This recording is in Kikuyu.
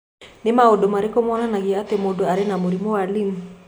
Nĩ maũndũ marĩkũ monanagia atĩ mũndũ arĩ na mũrimũ wa Lyme?